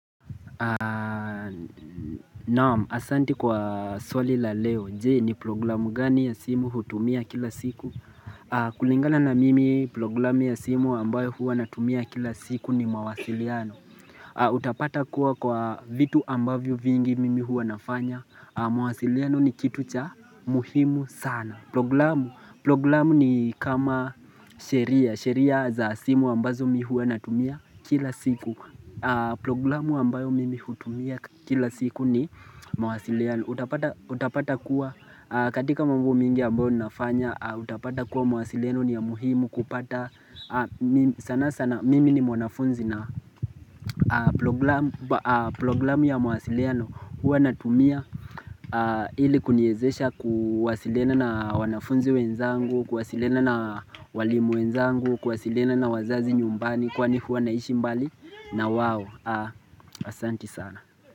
Naam, asanti kwa swali la leo. Je ni programu gani ya simu hutumia kila siku kulingana na mimi programu ya simu ambayo hua natumia kila siku ni mawasiliano Utapata kuwa kwa vitu ambavyo vingi mimi hua nafanya mawasiliano ni kitu cha muhimu sana programu Programu ni kama sheria sheria za simu ambazo mi hua natumia kila siku Programu ambayo mimi hutumia kila siku ni mwasiliano Utapata kuwa katika mambo mingi ambayo ninafanya Utapata kuwa mwasiliano ni ya muhimu kupata sana sana mimi ni mwanafunzi na programu ya mwasiliano Huwa natumia ili kuniezesha kuwasilina na wanafunzi wenzangu Kuwasilina na walimu wenzangu Kuwasilina na wazazi nyumbani Kwani huwa naishi mbali na wawo Asanti sana.